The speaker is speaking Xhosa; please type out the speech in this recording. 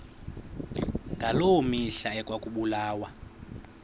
ngaloo mihla ekwakubulawa